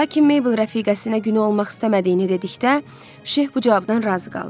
Lakin Meybl rəfiqəsinə günü olmaq istəmədiyini dedikdə, Şeyx bu cavabdan razı qaldı.